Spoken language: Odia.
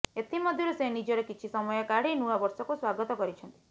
ଏଥିମଧ୍ୟରୁ ସେ ନିଜର କିଛି ସମୟ କାଢି ନୂଆ ବର୍ଷକୁ ସ୍ବାଗତ କରିଛନ୍ତି